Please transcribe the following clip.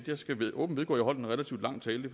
jeg skal åbent vedgå at jeg holdt en relativt lang tale